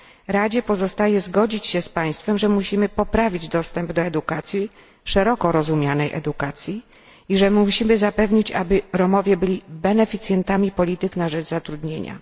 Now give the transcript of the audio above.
Radzie pozostaje zgodzić się z Państwem, że musimy poprawić dostęp do edukacji, szeroko rozumianej edukacji, i musimy zapewnić, aby Romowie stali się beneficjentami polityk na rzecz zatrudnienia.